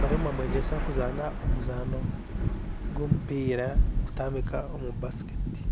bariyo nibamwegyesa kuzaana omuzaano gwomupiira kutambika omubasiketi